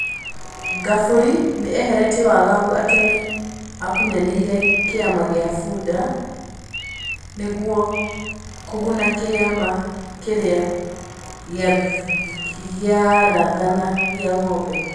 Ngabũri nĩ eheretie wagagu atĩ nĩ akunyanĩ ire kĩ ama gĩ a Fuda nĩ guo kũguna kĩ ama kĩ rĩ a gĩ rathana gĩ a Ng'ombe.